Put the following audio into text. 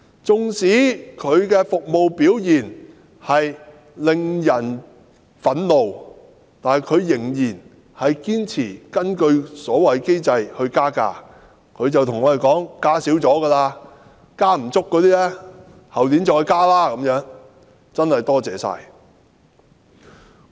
即使其服務表現令人憤怒，但仍然堅持根據所謂的機制加價，還說加幅已算小，後年會再追加，真的十分感謝它。